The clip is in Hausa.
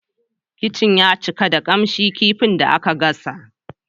Kicin ya cika da kamshin kifin da aka gasa.